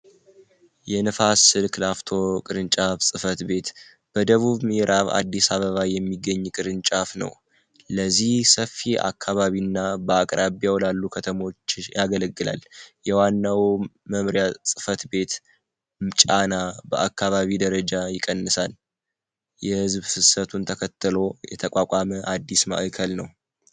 የነፋስ ስልክላፍቶ ቅርንጫፍ ጽፈት ቤት በደቡብ ሚዕራብ አዲስ አበባ የሚገኝ ቅርንጫፍ ነው። ለዚህ ሰፊ አካባቢእና በአቅራቢያው ላሉ ከተሞች ያገለግላል። የዋናው መምሪያ ጽፈት ቤት ጫና በአካባቢ ደረጃ ይቀንሳን የህዝብ ፍሰቱን ተከተሎ የተቋቋመ አዲስ ማዕከል ነው።